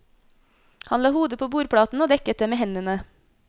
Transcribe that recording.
Han la hodet på bordplaten og dekket det med hendene.